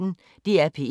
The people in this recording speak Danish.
DR P1